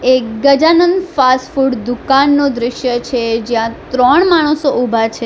એ Gajanand fast food દુકાનનું દ્રશ્ય છે જ્યાં ત્રણ માણસો ઉભા છે.